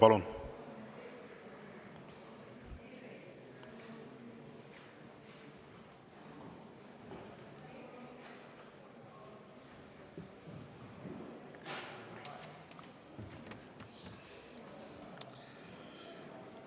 Palun!